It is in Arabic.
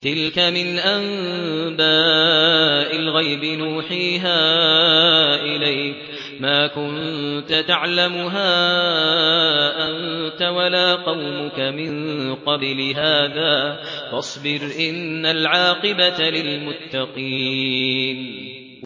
تِلْكَ مِنْ أَنبَاءِ الْغَيْبِ نُوحِيهَا إِلَيْكَ ۖ مَا كُنتَ تَعْلَمُهَا أَنتَ وَلَا قَوْمُكَ مِن قَبْلِ هَٰذَا ۖ فَاصْبِرْ ۖ إِنَّ الْعَاقِبَةَ لِلْمُتَّقِينَ